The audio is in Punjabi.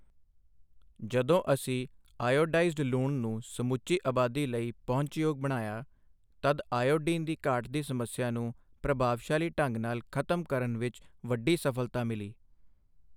ਜਦੋਂ ਅਸੀਂ ਆਇਓਡਾਈਜ਼ਡ ਲੂਣ ਨੂੰ ਸਮੁੱਚੀ ਆਬਾਦੀ ਲਈ ਪਹੁੰਚਯੋਗ ਬਣਾਇਆ, ਤਦ ਆਇਓਡੀਨ ਦੀ ਘਾਟ ਦੀ ਸਮੱਸਿਆ ਨੂੰ ਪ੍ਰਭਾਵਸ਼ਾਲੀ ਢੰਗ ਨਾਲ ਖਤਮ ਕਰਨ ਵਿੱਚ ਵੱਡੀ ਸਫਲਤਾ ਮਿਲੀ।